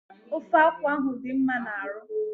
Ofe akwụ dị mma n'arụ